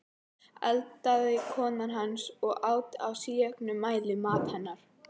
eldaði kona hans, og át í síauknum mæli, mat hennar.